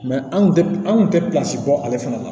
anw tun tɛ anw tun tɛ bɔ ale fana la